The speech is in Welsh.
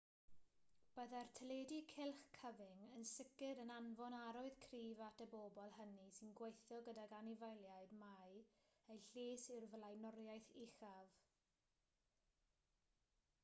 byddai'r teledu cylch cyfyng yn sicr yn anfon arwydd cryf at y bobl hynny sy'n gweithio gydag anifeiliaid mai eu lles yw'r flaenoriaeth uchaf